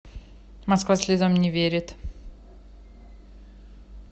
москва слезам не верит